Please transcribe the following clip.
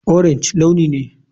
Orange launi ne.